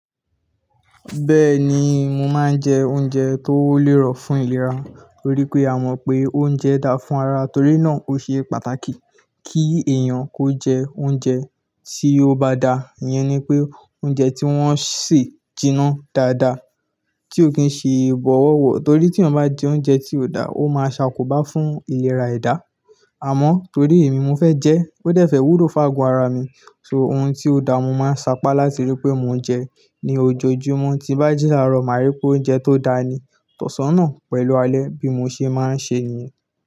Bẹ́ẹ̀ni, mo máa ń jẹ oúnjẹ tó lérò fún ìlera. Torí pé a mọ̀ pé oúnjẹ da fún ara, torí náà ó ṣe pàtàkì kí èèyàn kó jẹ oúnjẹ tí ó bá da. Ìyẹn ni pé oúnjẹ tí wọ́n se jiná dáadáa, tí ó kìí ṣe bọ̀wọ̀wọ̀. Torí tí èyán bá jẹ oúnjẹ tí ò da, ó máa ṣàkóbá fún ìlera ẹ̀dá. Àmọ́ torí èmi mo fẹ́ jẹ́, ó dẹ̀ fẹ́ wúló fágo ara mi, so ohun tí ó da, mo máa sapá láti rí pé mo jẹ ni ojoojúmọ́. Tí bá ji làárọ̀, màá rí pé oúnjẹ tó da ni, tọ̀san naà pẹ̀lú alẹ́ bí mo ṣe máa ń ṣe niyẹn.